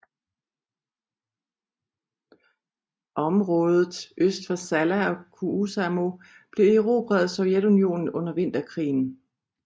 Området øst for Salla og Kuusamo blev erobret af Sovjetunionen under Vinterkrigen